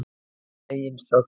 Að eigin sögn.